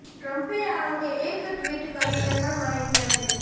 ટ્રમ્પે આ અંગે એક ટ્વીટ કરીને પણ માહિતી આપી હતી